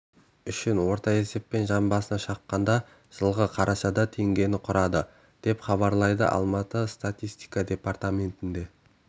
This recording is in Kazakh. үшін орта есеппен жан басына шаққанда жылғы қарашада теңгені құрады деп хабарлайды алматы статистика департаментіне